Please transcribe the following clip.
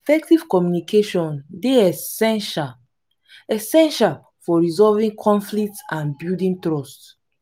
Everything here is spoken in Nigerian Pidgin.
effective communication dey essential essential for resolving conflicts and building trust.